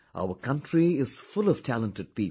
Our country is full of talented people